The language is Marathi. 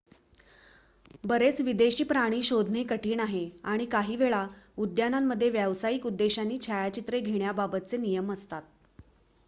बरेच विदेशी प्राणी शोधणे कठीण आहे आणि काहीवेळा उद्यानांमध्ये व्यावसायिक उद्देशांनी छायाचित्रे घेण्याबाबतचे नियम असतात